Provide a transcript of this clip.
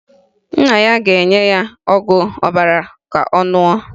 Nna ya ga-enye ya ọgwụ ọbara ka ọ ṅụọ